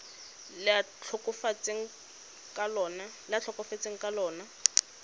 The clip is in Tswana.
le a tlhokafetseng ka lona